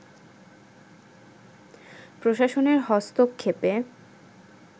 প্রশাসনের হস্তক্ষেপে